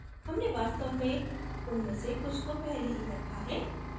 हमने वास्तव में उनमें से कुछ को पहले ही रखा है